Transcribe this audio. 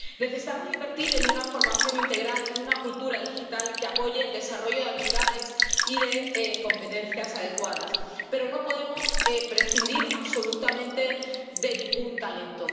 Necesitamos invertir en una formación integral y en una cultura digital que apoye el desarrollo de habilidades y de competencias adecuadas, pero no podemos prescindir absolutamente de ningún talento.